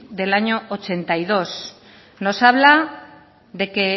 del año ochenta y dos nos habla de que